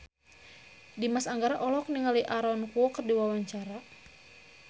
Dimas Anggara olohok ningali Aaron Kwok keur diwawancara